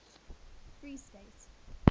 freestate